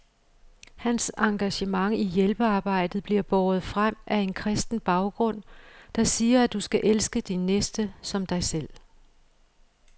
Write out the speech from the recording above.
Hans engagement i hjælpearbejdet bliver båret frem af en kristen baggrund, der siger, at du skal elske din næste som dig selv.